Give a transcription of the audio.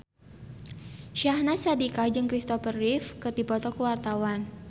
Syahnaz Sadiqah jeung Christopher Reeve keur dipoto ku wartawan